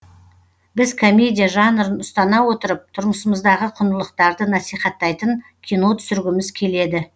біз комедия жанрын ұстана отырып тұрмысымыздағы құндылықтарды насихаттайтын кино түсіргіміз келеді